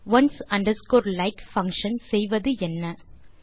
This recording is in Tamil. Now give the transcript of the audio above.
ஒன்ஸ் அண்டர்ஸ்கோர் like பங்ஷன் செய்வது என்ன